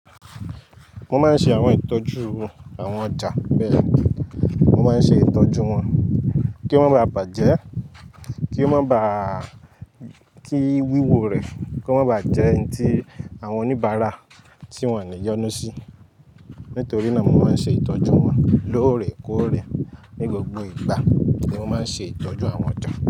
Mo máa ń ṣe àwọn ìtọ́jú àwọn ọjà bẹ́ẹ̀. Mo máa ń ṣe ìtọ́jú wọn kí wọ́n má baà bàjẹ́, kí ó má bá, kí wíwò rẹ̀ kí wọ́n má bàjẹ́ ń tí àwọn oníbàárà tí wọ́n lè yónu sí. Nítorí náà mo máa ń ṣe ìtọ́jú wọn lóòrèkóòrè ní gbogbo ìgbà tí mo máa ń ṣe ìtọ́jú àwọn ọjà.